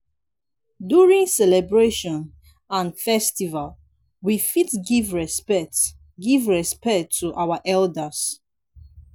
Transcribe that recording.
during celebration and festival we fit give respect give respect to our elders